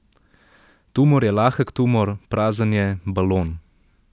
Tumor je lahek tumor, prazen je, balon.